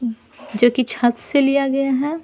जो कि छत से लिया गया है।